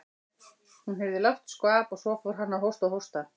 Hún heyrði lágt skvamp og svo fór hann að hósta og hósta.